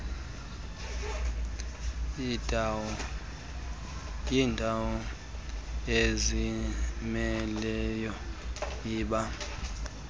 yindawo ezimeleyo iba